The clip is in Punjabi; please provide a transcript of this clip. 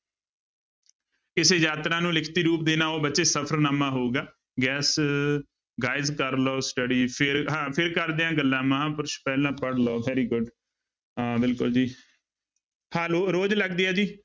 ਕਿਸੇ ਯਾਤਰਾ ਨੂੰ ਲਿਖਤੀ ਰੂਪ ਦੇਣਾ ਉਹ ਬੱਚੇ ਸਫ਼ਰਨਾਮਾ ਹੋਊਗਾ ਗੈਸ guys ਕਰ ਲਓ study ਫਿਰ ਹਾਂ ਫਿਰ ਕਰਦੇ ਹਾਂ ਗੱਲਾਂ ਮਹਾਂਪੁਰਸ਼ ਪਹਿਲਾਂ ਪੜ੍ਹ ਲਓ very good ਹਾਂ ਬਿਲਕੁਲ ਜੀ ਹਾਂ ਲੋ ਰੋਜ਼ ਲੱਗਦੀ ਹੈ ਜੀ।